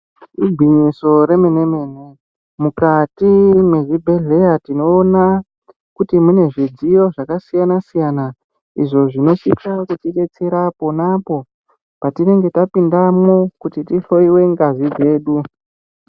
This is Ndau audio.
Igwinyiso remene mene mukati mwezvibhedhleya tinoona kuti mune zvidziyo zvakasiyana siyana izvo zvinosisa kutibetsera pona apo patinenge tapindamwo kuti tihloiwe ngazi dzedu.